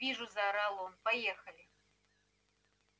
вижу заорал он поехали